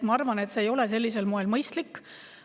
Ma arvan, et see ei ole sellisel moel mõistlik.